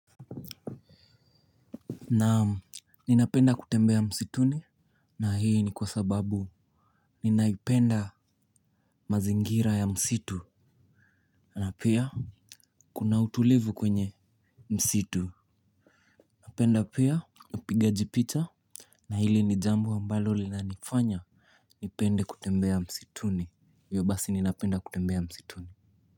Naam, ninapenda kutembea msituni. Na hii ni kwa sababu ninaipenda mazingira ya msitu. Na pia, kuna utulivu kwenye msitu. Napenda pia, upigaji picha. Na hili ni jambo ambalo linanifanya nipende kutembea msituni iyo basi ninapenda kutembea msituni.